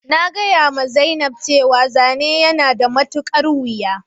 Na gaya ma zainab cewa zane yana da matukar wuja